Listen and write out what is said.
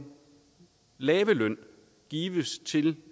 lave løn gives til